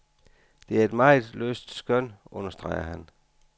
Det er et meget løst skøn, understreger han.